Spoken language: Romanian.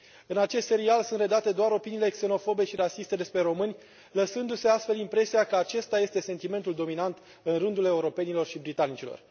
În acest serial sunt redate doar opiniile xenofobe și rasiste despre români, lăsându se astfel impresia că acesta este sentimentul dominant în rândul europenilor și britanicilor.